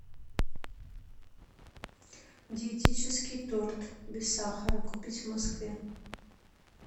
диетический торт без сахара купить в москве